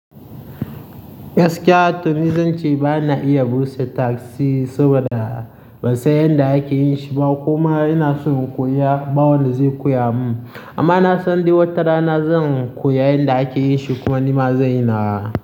Gaskiya Tony, zan ce ba na iya busa tasi saboda ban san yadda ake yin shi ba kuma ina so in koya ɓawon da zai koya mun. Amma na san duk wata rana zan koya yadda ake yin shi kuma nima zan yi na.